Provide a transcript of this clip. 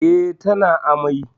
Eh, tana amai